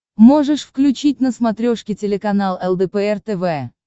можешь включить на смотрешке телеканал лдпр тв